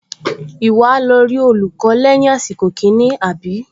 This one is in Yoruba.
Ìwọ á lọ rí olùkọ́ lẹ́yìn àsìkò kìíní, àbí?